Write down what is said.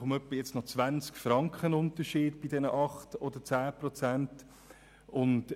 Schlussendlich sprechen wir jetzt über einen Unterschied von etwa 20 Franken bei den 8 oder 10 Prozent.